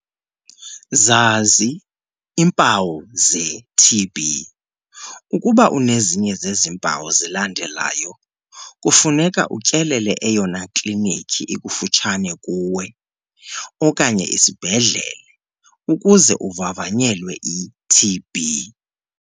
Zazi iimpawu ze-TB. Ukuba unezinye zezi mpawu zilandelayo, kufuneka utyelele eyona klinikhi ikufutshane kuwe okanye isibhedlele ukuze uvavanyelwe i-TB.